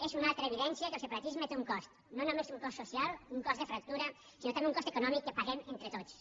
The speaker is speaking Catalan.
és una altra evidència que el separatisme té un cost no només té un cost social un cost de fractura sinó també un cost econòmic que paguem entre tots